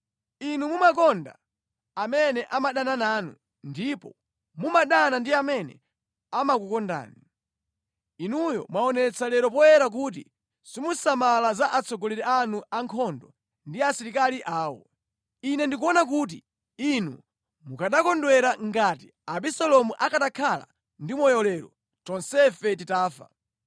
Inu mumakonda amene amadana nanu ndipo mumadana ndi amene amakukondani. Inuyo mwaonetsa lero poyera kuti simusamala za atsogoleri anu a nkhondo ndi asilikali awo. Ine ndikuona kuti inu mukanakondwera ngati Abisalomu akanakhala ndi moyo lero, tonsefe titafa.